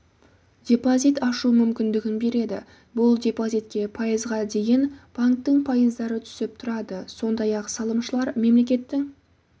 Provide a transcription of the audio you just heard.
депозит ашу мүмкіндігін береді бұл депозитке пайызға дейін банктің пайыздары түсіп тұрады сондай-ақ салымшылар мемлекеттің